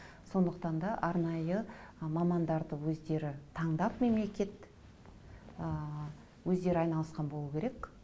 сондықтан да арнайы ы мамандарды өздері таңдап мемлекет ы өздері айналысқан болуы керек